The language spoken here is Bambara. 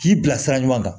K'i bila sira ɲuman kan